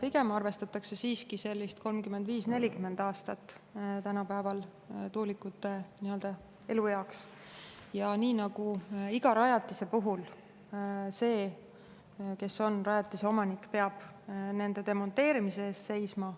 Pigem arvestatakse siiski 35–40 aastat tänapäeval tuulikute elueaks ja nii nagu iga rajatise puhul: see, kes on rajatise omanik, peab nende demonteerimise eest hea seisma.